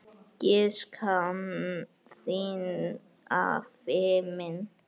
Ég sakna þín, afi minn.